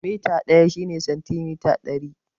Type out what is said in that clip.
Mita ɗaya shine santimita ɗari